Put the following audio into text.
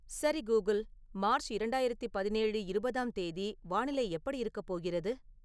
சரி Google March இரண்டாயிரத்தி பதினேழு இருவதாம் தேதி வானிலை எப்படி இருக்கப் போகிறது